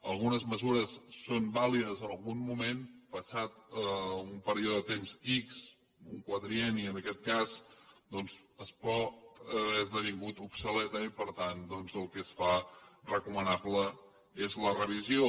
algunes mesures són vàlides en algun moment passat un període de temps ics un quadrienni en aquest cas doncs poden haver esdevingut obsoletes i per tant doncs el que es fa recomanable és la revisió